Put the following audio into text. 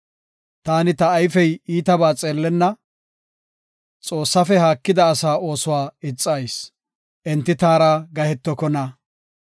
Taani ta ayfey iitabaa xeellenna; Xoossafe haakida asaa oosuwa ixayis; enti taara gahetokona.